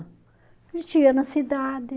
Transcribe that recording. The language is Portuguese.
A gente ia na cidade.